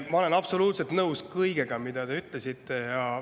Ma olen absoluutselt nõus kõigega, mida te ütlesite.